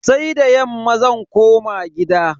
Sai da yamma zan koma gida.